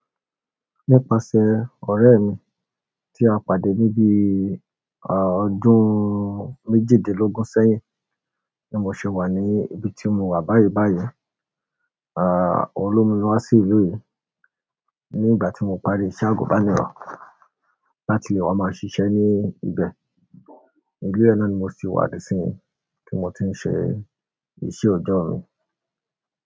Nípasẹ̀ ọ̀rẹ́ mi tí a pàdé ní bi ọdún méjìdínlógún sẹ́yìn tí mo ṣì wà ní ibi tí mo wà báyìí báyìí, òun ló mú mi wá sí ìlú yìí ní ìgbà tí mo parí iṣẹ́ àgùnbánirọ̀ láti lè wá máa ṣiṣẹ́ ní ibẹ̀. Ilé yẹn náà ni ko ṣì wà dìsinyìí tí mo ti ń ṣe iṣẹ́ ọ̀dọ́ mi.